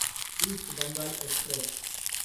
east Bengal Express